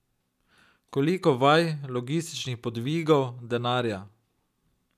Koliko vaj, logističnih podvigov, denarja.